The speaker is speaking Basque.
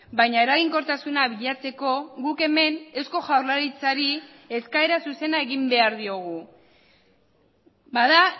baina eraginkortasuna bilatzeko guk hemen eusko jaurlaritzari eskaera zuzena egin behar diogu bada